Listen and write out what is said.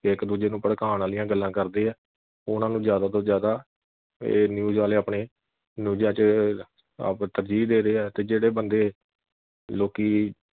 ਇਕ ਦੂਜੇ ਨੂੰ ਭੜਕਾਉਣ ਵਾਲੀਆਂ ਗੱਲਾਂ ਕਰਦੇ ਆ ਉਨ੍ਹਾਂ ਨੂੰ ਜਿਆਦਾ ਤੋਂ ਜਿਆਦਾ ਇਹ news ਵਾਲੇ ਆਪਣੇ ਨਿਊਜਾਂ ਵਿਚ ਆਪ ਤਰਜੀਹ ਦੇ ਰਹੇ ਆ ਤੇ ਜਿਹੜੇ ਬੰਦੇ ਲੋਕੀ